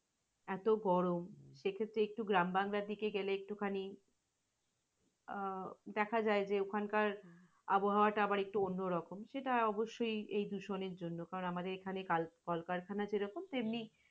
এত গরম, সে ক্ষেত্রে একটু গ্রাম বাংলার দিকে গেলে একটুখানি, আহ দেখা যায়যে ওখানকার আবোহাওয়া টা আবার একটু অন্য রকম। সেটা অবশ্য এই দূষণের জন্য কারণ, আমদের এখানে কাল-কলকারখানা যেরকম তেমনি,